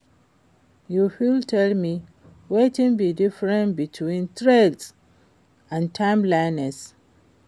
you fit tell me wetin be di difference between trends and timelessness?